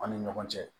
Aw ni ɲɔgɔn cɛ